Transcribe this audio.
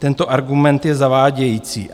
Tento argument je zavádějící.